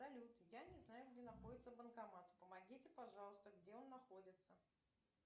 салют я не знаю где находится банкомат помогите пожалуйста где он находится